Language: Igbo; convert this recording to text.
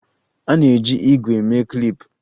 A na-eji ígwè mee klip